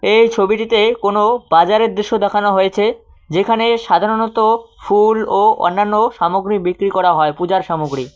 এই ছবিটিতে কোনো বাজারের দৃশ্য দেখানো হয়েছে যেখানে সাধারণত ফুল ও অন্যান্য সামগ্রী বিক্রি করা হয় পূজার সামগ্রী।